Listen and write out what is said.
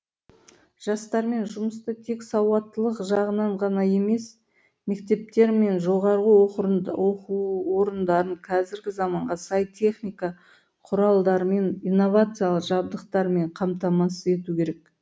жастармен жұмысты тек сауаттылық жағынан ғана емес мектептер мен жоғарғы оқу орындарын қазіргі заманға сай техника құралдармен инновациялы жабдықтармен қамтамасыз ету керек